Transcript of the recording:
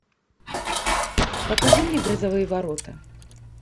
покажи мне грозовые ворота